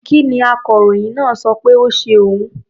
Kí ni akọròyìn náà sọ pé ó ṣe òun?